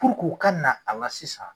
Puruk'u ka na a la sisan